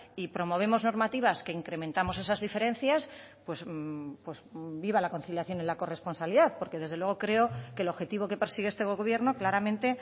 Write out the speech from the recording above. y promovemos normativas que incrementamos esas diferencias pues viva la conciliación y la corresponsabilidad porque desde luego creo que el objetivo que persigue este gobierno claramente